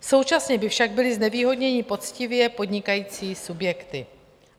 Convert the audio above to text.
Současně by však byly znevýhodněny poctivě podnikající subjekty.